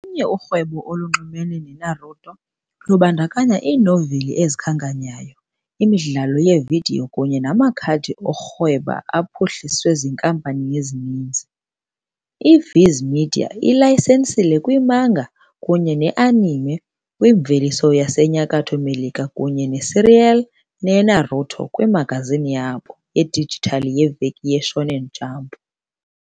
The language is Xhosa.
Olunye urhwebo olunxulumene neNaruto lubandakanya iinoveli ezikhanyayo, imidlalo yevidiyo, kunye namakhadi okurhweba aphuhliswe ziinkampani ezininzi. I-Viz Media ilayisenisile kwimanga kunye ne-anime kwimveliso yaseNyakatho Melika kunye ne-serial yeNaruto kwimagazini yabo yedijithali yeVeki yeShonen Jump.